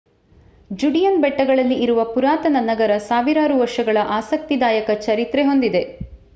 Judean ಬೆಟ್ಟಗಳಲ್ಲಿ ಇರುವ ಪುರಾತನ ನಗರ ಸಾವಿರಾರು ವರ್ಷಗಳ ಆಸಕ್ತಿದಾಯಕ ಚರಿತ್ರೆ ಹೊಂದಿದೆ